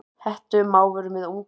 Hettumávur með unga.